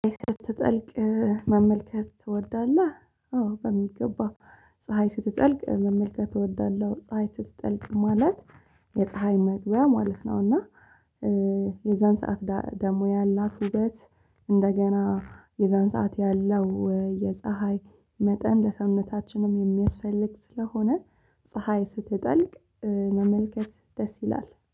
ፀሀይ ስትጠልቅ መመልከት ትወዳለህ? አዎ በሚገባ ፀሀይ ስትጠልቅ መመልከት እወዳለሁ። ፀሀይ ስትጠልቅ ማለት የፀሀይ መግቢያ ማለት ነው። እና የዛን ሰዓት ደሞ ያላት ውበት። እንደገና የዛን ሰዓት ያለው የፀሀይ መጠን ለሰዉነታችንም የሚያስፈልግ ስለሆነ ፀሀይ ስትጠልቅ መመልከት ደስ ይላል